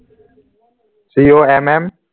c a m m